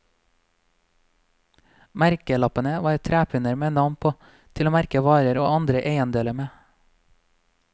Merkelappene var trepinner med navn på, til å merke varer og andre eiendeler med.